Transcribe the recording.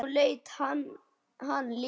Hún lét hana liggja.